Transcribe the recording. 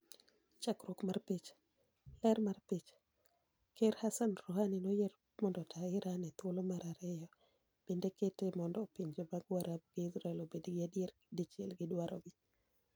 Chakruok mar picha, . Ler mar picha, Ker Hassan Rouhani noyier mondo otaa Iran e thuolo mar aeriyo bende kete mondo pinje mag Warabu gi Israel obed gi adier dichiel gi dwaro gi.